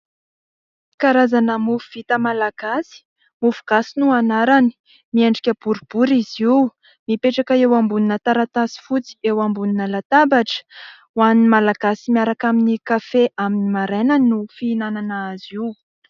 Karazana mofo vita malagasy mofogasy no anarany miendrika boribory izy io, mipetraka eo ambonina taratasy fotsy eo ambonina latabatra, hoanin'ny Malagasy miaraka amin'ny kafe amin'ny marainay no fihinanana azy io.